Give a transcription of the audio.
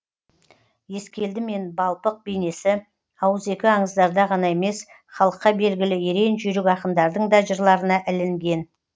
ескелді мен балпық бейнесі ауызекі аңыздарда ғана емес халыққа белгілі ерен жүйрік ақындардың да жырларына ілінген